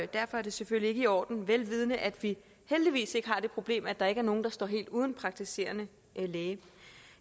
derfor er det selvfølgelig ikke i orden ved at vi heldigvis ikke har det problem at der ikke er nogen der står helt uden praktiserende læge